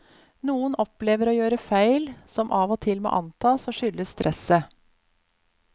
Noen opplever å gjøre feil, som av og til må antas å skyldes stresset.